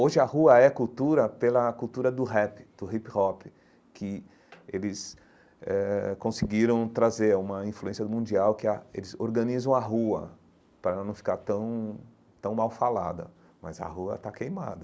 Hoje a rua é cultura pela cultura do rap, do hip-hop, que eles eh conseguiram trazer uma influência mundial que ah eles organizam a rua para ela não ficar tão tão mal falada, mas a rua está queimada.